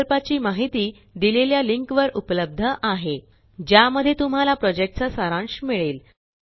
प्रकल्पाची माहिती देलेल्या लिंक वर उपलब्ध आहे ज्या मध्ये तुम्हाला प्रोजेक्टचा सारांश मिळेल